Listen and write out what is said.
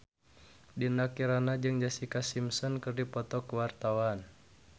Dinda Kirana jeung Jessica Simpson keur dipoto ku wartawan